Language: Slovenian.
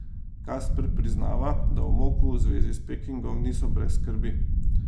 Kasper priznava, da v Moku v zvezi s Pekingom niso brez skrbi.